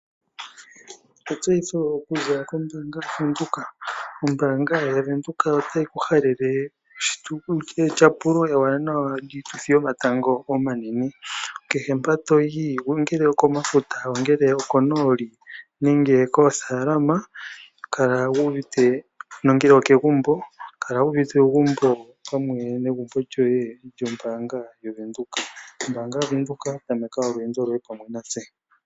Etseyitho okuza kombaanga yaVenduka. Ombaanga yaVenduka otayi ku halele etyapulo ewanawa lyiituthi yomatango omanene. Kehe mpa to yi, ngele okomafuta, konooli nenge koothaalama nongele okegumbo, kala wu wu uvite uugumbo pamwe negumbo lyoye lyombaanga yaVEnduka. Ombaanga yaVenduka tameka olweendo lwoye pamwe natse.